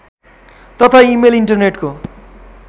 तथा इमेल इन्टरनेटको